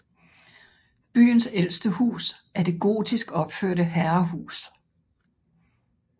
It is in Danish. Byens ældste hus er det gotisk opførte herrehus